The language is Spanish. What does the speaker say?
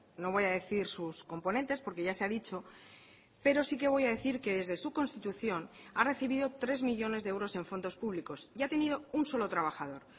no voy a decir sus componentes porque ya se ha dicho pero sí que voy a decir que desde su constitución ha recibido tres millónes de euros en fondos públicos y ha tenido un solo trabajador